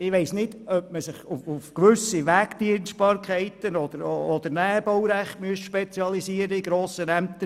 Ich weiss nicht, ob man sich in grossen Ämtern auf gewisse Wegdienstbarkeiten oder auf das Näherbaurecht spezialisieren sollte.